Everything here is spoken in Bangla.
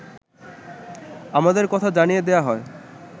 আমাদের কথা জানিয়ে দেয়া হয়